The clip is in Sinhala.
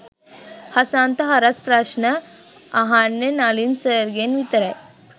හසන්ත හරස් ප්‍රස්න අහන්නෙ නලින් සර්ගෙන් විතරයි.